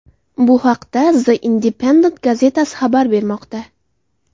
Bu haqda The Independent gazetasi xabar bermoqda .